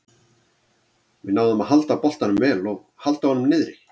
Við náðum að halda boltanum vel og halda honum niðri.